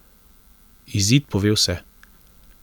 Izid pove vse.